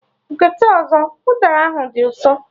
Gote ọzọ! Udara ahụ dị ụsọ!